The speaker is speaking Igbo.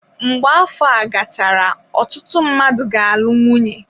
Mgbe afọ a gachara, ọtụtụ mmadụ ga-alụ nwunye.